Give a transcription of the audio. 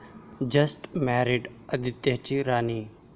Just मॅरिड..आदित्यची 'राणी'!